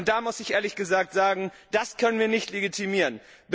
Da muss ich ehrlich sagen Das können wir nicht legitimieren.